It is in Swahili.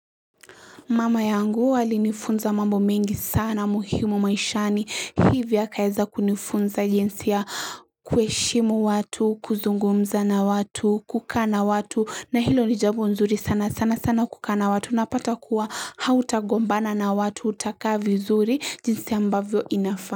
Mama yangu alinifunza mambo mengi sana muhimu maishani hivyo akaeza kunifunza jinsi ya kuheshimu watu kuzungumza na watu kukaa na watu na hilo ni jambo nzuri sana sana sana kukaa na watu napata kuwa hautagombana na watu utakaa vizuri jinsi ambavyo inafaa.